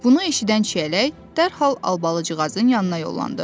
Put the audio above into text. Bunu eşidən Çiyələk dərhal Albalıcığazın yanına yollandı.